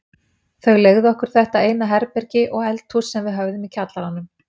Þau leigðu okkur þetta eina herbergi og eldhús sem við höfðum í kjallaranum.